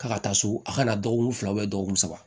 K'a ka taa so a ka na dɔgɔkun fila dɔgɔkun saba